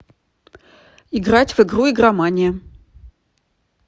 играть в игру игромания